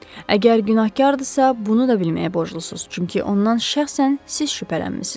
Əgər günahkardırsa, bunu da bilməyə borclusunuz, çünki ondan şəxsən siz şübhələnmisiz.